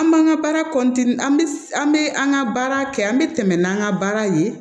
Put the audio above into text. An b'an ka baara an bi an be an ga baara kɛ an be tɛmɛ n'an ka baara ye